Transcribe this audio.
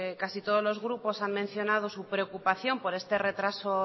casi todos los grupos han mencionado su preocupación por este retraso